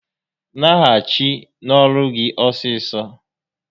Naghachi n'ọrụ gị ọsịsọ!